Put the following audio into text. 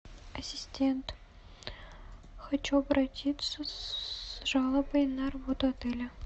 ассистент хочу обратиться с жалобой на работу отеля